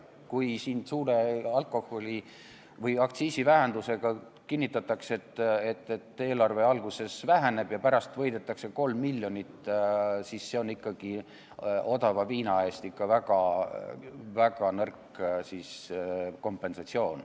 Kui siin kinnitatakse, et suure aktsiisivähenduse peale eelarve alguses väheneb ja pärast võidetakse 3 miljonit, siis see on ikkagi odava viina eest väga lahja kompensatsioon.